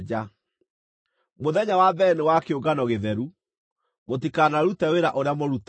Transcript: Mũthenya wa mbere nĩ wa kĩũngano gĩtheru; mũtikanarute wĩra ũrĩa mũrutaga.